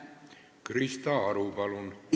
Krista Aru, palun!